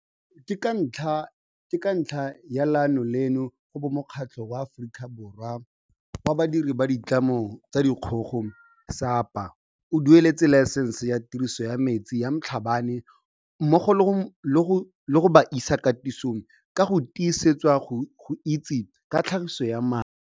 Ke ka ntlha ya leano leno go bo Mokgatlho wa Aforika Borwa wa Badiri ba Ditlamo tsa Dikgogo SAPA o dueletse laesense ya tiriso ya metsi ya Mhlabane mmogo le go mo isa katisong go ka tisetswa go itse ka tlhagiso ya mae.